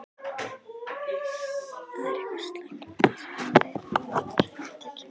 Það er eitthvað slæmt um að vera í Fyrirtækinu.